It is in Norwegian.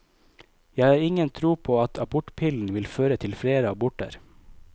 Jeg har ingen tro på at abortpillen vil føre til flere aborter.